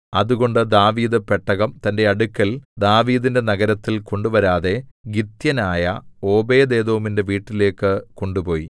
അതുകൊണ്ട് ദാവീദ് പെട്ടകം തന്റെ അടുക്കൽ ദാവീദിന്റെ നഗരത്തിൽ കൊണ്ടുവരാതെ ഗിത്യനായ ഓബേദ്ഏദോമിന്റെ വീട്ടിലേക്കു കൊണ്ടുപോയി